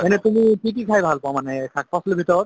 মানে তুমি কি কি খাই ভাল পোৱা মানে শাক পাচলীৰ ভিতৰত?